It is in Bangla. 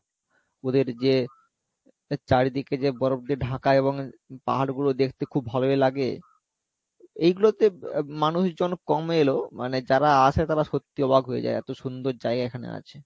ওদের যে চারিদিকে যে বরফ দিয়ে ঢাকা এবং পাহাড় গুলো দেখতে খুব ভালোই লাগে এগলোতে মানুষজন কম এলেও মানে যারা আসে তারা সত্যি অবাক হয়ে যাই এত সুন্দর জায়গা এখানে আছে